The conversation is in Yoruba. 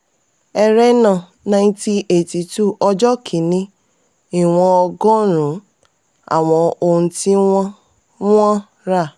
ẹrẹ́nà 1982: ọjọ́ kíní ìwọ̀n ọgọrun-un àwọn ohun tí wọ́n wọ́n rà.